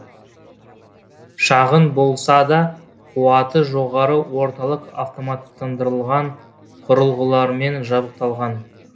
шағын болса да қуаты жоғары орталық автоматтандырылған құрылғыларымен жабдықталған